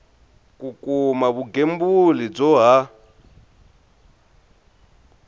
ku kuma vugembuli byo ha